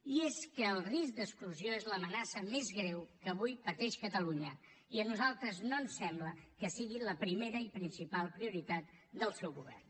i és que el risc d’exclusió és l’amenaça més greu que avui pateix catalunya i a nosaltres no ens sembla que sigui la primera i principal prioritat del seu govern